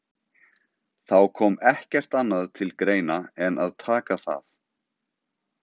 Þá kom ekkert annað til greina en að taka það.